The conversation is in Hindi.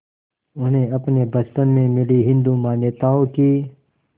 उन्हें अपने बचपन में मिली हिंदू मान्यताओं की